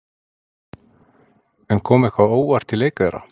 En kom eitthvað á óvart í leik þeirra?